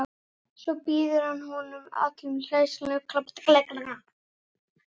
Svo býður hann alla hjartanlega velkomna.